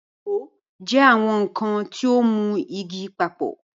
Ìṣó jẹ́ àwọn nkan tí ó ń mú igi papọ̀.